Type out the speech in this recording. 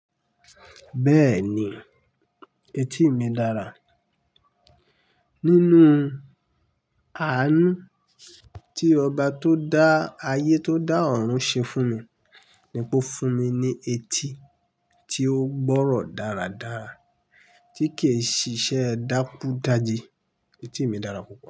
Bẹ́ẹ̀ni, etí mi dára. Nínú àánú tí ọba tó dá ayé tó dá ọ̀run ṣe fún mi ni pé ó fún mi ní etí tí ó gbọ́rọ̀ dáradára tí kì í ṣiṣẹ́ dákúdájé. Etí mi dára púpọ̀